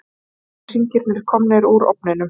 Vanilluhringirnir komnir úr ofninum.